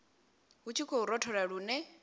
hu tshi khou rothola lune